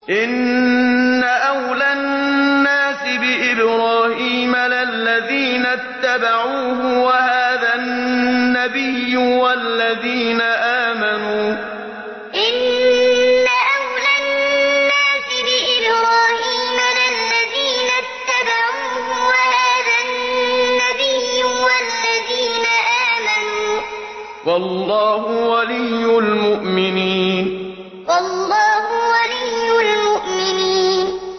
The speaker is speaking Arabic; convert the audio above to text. إِنَّ أَوْلَى النَّاسِ بِإِبْرَاهِيمَ لَلَّذِينَ اتَّبَعُوهُ وَهَٰذَا النَّبِيُّ وَالَّذِينَ آمَنُوا ۗ وَاللَّهُ وَلِيُّ الْمُؤْمِنِينَ إِنَّ أَوْلَى النَّاسِ بِإِبْرَاهِيمَ لَلَّذِينَ اتَّبَعُوهُ وَهَٰذَا النَّبِيُّ وَالَّذِينَ آمَنُوا ۗ وَاللَّهُ وَلِيُّ الْمُؤْمِنِينَ